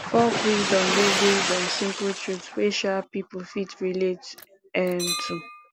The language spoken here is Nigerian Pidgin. folk wisdom dey based on simple truth wey um pipo fit relate um to